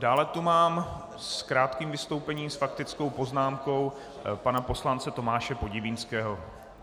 Dále tu mám s krátkým vystoupením s faktickou poznámkou pana poslance Tomáše Podivínského.